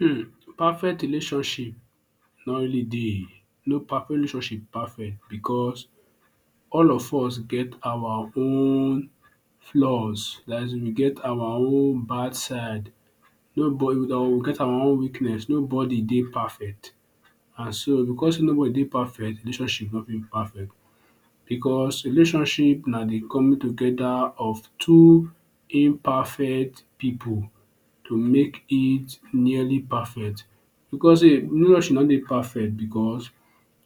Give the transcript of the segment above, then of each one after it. um perfect relationship no really dey. No perfect, no relationship perfect because all of us get our own flaws, dat is we get our own bad side. Nobody don we get our own weakness, nobody dey perfect. Na so, because nobody dey perfect de relationship no fit perfect because relationship na de coming together of two imperfect pipu to make it nearly perfect because sey relationship no dey perfect because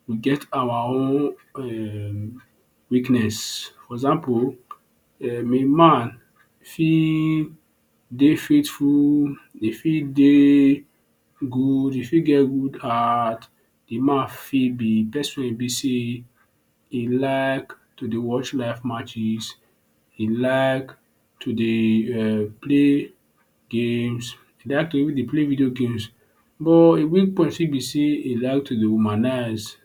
e get our own um weakness. For example um a man fit dey faithful, e fit dey good, e fit get good heart. De man fit be person wey e be sey e like to dey watch live matches, e like to dey um play games, e like to dey even dey play video games but e weak point fit be sey wey e like to dey womanize,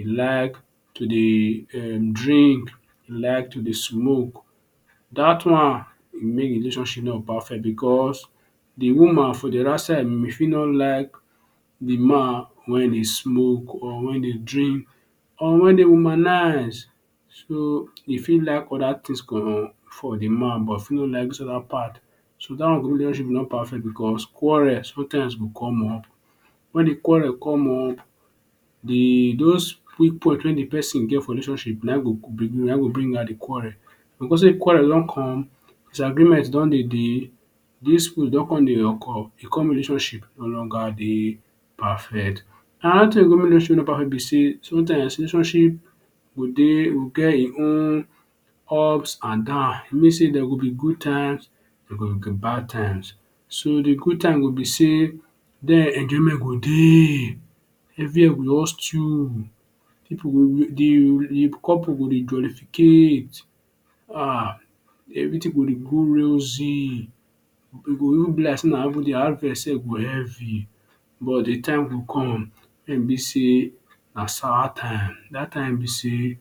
e like to dey um drink, like to dey smoke. Dat one e make relationship no go perfect because de woman for de other side may fit no like de man wen e dey smoke or wen e dey drink or wen e dey womanize. So e fit like other things for for de man but e fit no like other part. So dat one go make relationship no perfect because quarrel sometimes go come up. Wen de quarrel come up de those weak point wey de person get for relationship na im e go bring out the quarrel. And because sey quarrel don come, disagreement don dey dey, dispute don con come dey occur. E come make de relationship no longer dey perfect. Another thing wey go make relationship no perfect be sey something relationship go dey go get e own ups and down. Mean sey there will be good times, dey go be bad times. So de good times go be sey den enjoyment go dey, everywhere will just stew. Pipu go dey, de couple go dey jollificate. um everything go dey go rosy. E go just be as if heavy but de time go come wen e be sey na sour time. Dat time be sey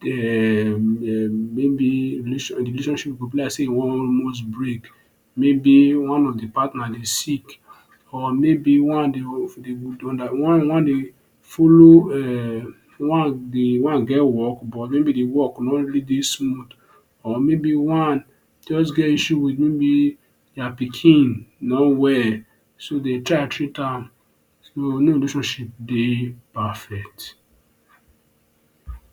dey um maybe de relationship go be like sey e wan almost break. Maybe one of de partner dey sick or maybe one dey follow um one dey one get work work no really dey smooth or maybe one jus get issue wit maybe their pikin no well. So dey try treat am. So no relationship dey perfect.